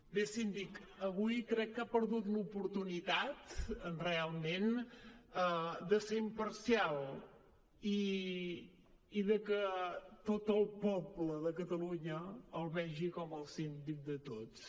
bé síndic avui crec que ha perdut l’oportunitat realment de ser imparcial i de que tot el poble de catalunya el vegi com el síndic de tots